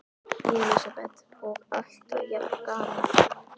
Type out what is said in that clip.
Elísabet: Og alltaf jafn gaman?